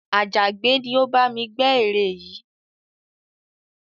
Àjàgbẹ́ ni ó bá mi gbẹ́ ère yìí